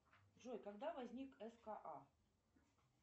джой когда возник ска